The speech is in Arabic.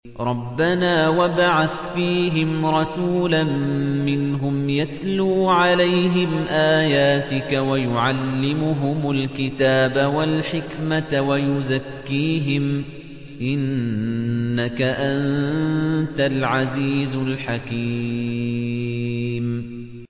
رَبَّنَا وَابْعَثْ فِيهِمْ رَسُولًا مِّنْهُمْ يَتْلُو عَلَيْهِمْ آيَاتِكَ وَيُعَلِّمُهُمُ الْكِتَابَ وَالْحِكْمَةَ وَيُزَكِّيهِمْ ۚ إِنَّكَ أَنتَ الْعَزِيزُ الْحَكِيمُ